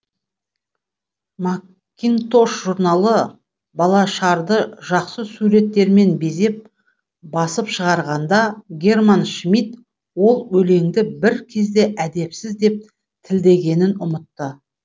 макинтош журналы балашарды жақсы суреттермен безеп басып шығарғанда герман шмидт ол өлеңді бір кезде әдепсіз деп тілдегенін ұмытты